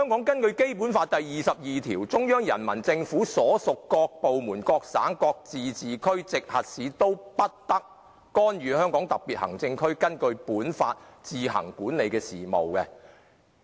《基本法》第二十二條規定："中央人民政府所屬各部門、各省、自治區、直轄市均不得干預香港特別行政區根據本法自行管理的事務。